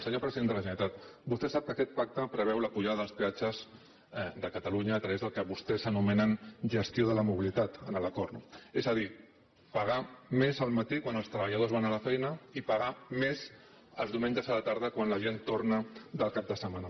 senyor president de la generalitat vostè sap que aquest pacte preveu la pujada dels peatges de catalunya a través del que vostès anomenen gestió de la mobilitat en l’acord és a dir pagar més al matí quan els treballadors van a la feina i pagar més els diumenges a la tarda quan la gent torna del cap de setmana